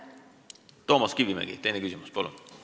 Toomas Kivimägi, teine küsimus, palun!